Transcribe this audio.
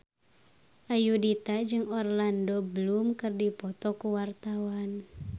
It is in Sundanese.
Ayudhita jeung Orlando Bloom keur dipoto ku wartawan